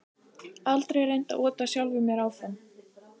Aldrei reynt að ota sjálfum mér áfram